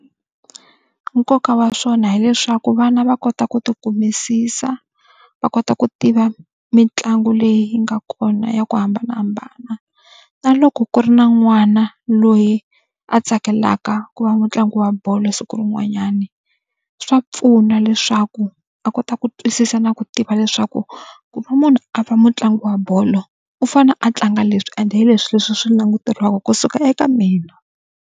Nkoka wa swona hileswaku vana va kota ku tikumisisa, va kota ku tiva mitlangu leyi yi nga kona ya ku hambanahambana. Na loko ku ri na n'wana loyi a tsakelaka ku va mutlangi wa bolo siku rin'wanyani swa pfuna leswaku a kota ku twisisa na ku tiva leswaku, ku va munhu a va mutlangi wa bolo, u fanele a tlanga leswi ende hi leswi leswi swi languteriwaka kusuka eka mina.